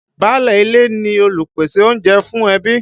Báálé ilé ni olùpèsè oúnjẹ fún ẹbí.